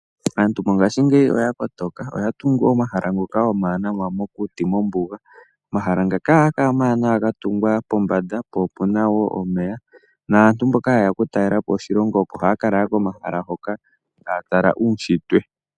Aantu mongaashingeyi oya kotoka oya tungu omahala ngoka omawanawa mokuti mombuga. Omahala ngaka ohaga kala omawanawa ga tungwa pombanda po opuna omeya. Aantu mboka ha yeya oku talelapo oshilongo oko haya ka lala komahala hoka taya tala uushitwe.